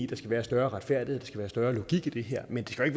der skal være større retfærdighed skal være større logik i det her men det skal